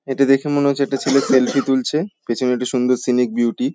এটা দেখে মনে হচ্ছে একটা ছেলে সেলফি তুলছে | পেছনে একটু সুন্দর সেনিক বিউটি ।